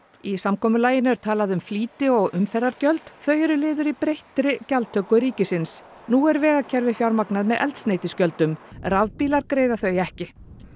í samkomulaginu er talað um flýti og umferðargjöld þau eru liður í breyttri gjaldtöku ríkisins nú er vegakerfið fjármagnað með eldsneytisgjöldum rafbílar greiða þau ekki